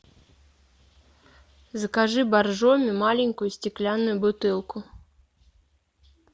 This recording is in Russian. закажи боржоми маленькую стеклянную бутылку